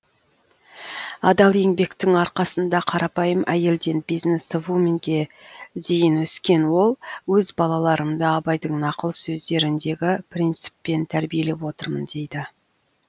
адал еңбектің арқасында қарапайым әйелден бизнесвуменге дейін өскен ол өз балаларымды абайдың нақыл сөздеріндегі принциппен тәрбиелеп отырмын дейді